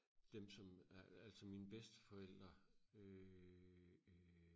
dem som altså mine bedsteforældre øh øh